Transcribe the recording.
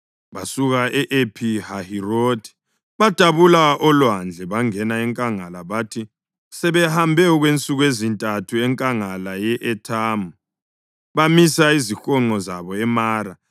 Basuka ePhi-Hahirothi badabula olwandle bangena enkangala, bathi sebehambe okwensuku ezintathu enkangala ye-Ethamu, bamisa izihonqo zabo eMara.